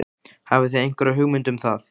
Hafið þið einhverja hugmynd um það?